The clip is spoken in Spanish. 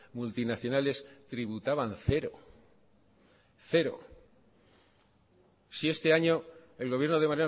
multinacionales tributaban cero cero si este año el gobierno de